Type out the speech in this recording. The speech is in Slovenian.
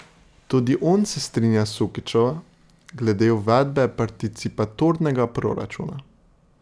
Tudi on se strinja s Sukičevo glede uvedbe participatornega proračuna.